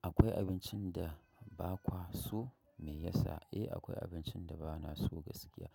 Akwai abincin da ba kwa so me yasa? Eh, akwai abinci da ba na so gaskiya.